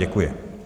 Děkuji.